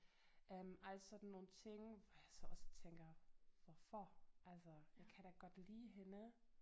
Øh alle sådan nogle ting hvor jeg så også tænker hvorfor altså jeg kan da godt lide hende